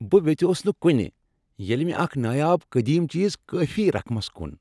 بہ ویژیوس نہ کُنہ ییٚلہ مےٚ اکھ نایاب قدیم چیز کٲفی رقمس کُن۔